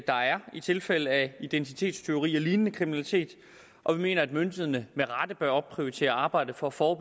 der er i tilfælde af identitetstyveri og lignende kriminalitet og vi mener at myndighederne med rette bør opprioritere arbejdet for for at